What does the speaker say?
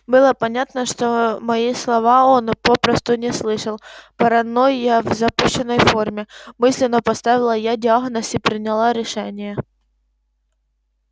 было понятно что мои слова он попросту не слышал паранойя в запущенной форме мысленно поставила я диагноз и приняла решение